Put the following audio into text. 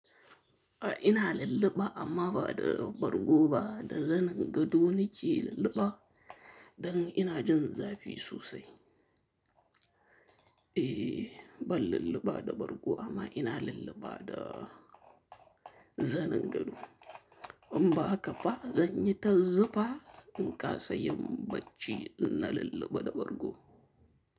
A'a ina lulluɓa amma ba da bargo ba, da zanin gado nake lulluɓa don ina jin zafi sosai. Eh ba lulluɓa da bargo amma ina lulluɓa da zanin gado. In ba haka ba, zanyi ta zufa in kasa yin barci, ina lulluɓa da bargo.